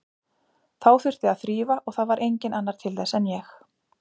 Þá þurfti að þrífa og það var enginn annar til þess en ég.